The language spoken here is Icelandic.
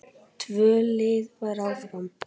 Tvö lið fara áfram.